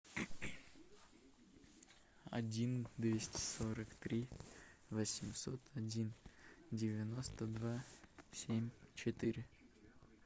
один двести сорок три восемьсот один девяносто два семь четыре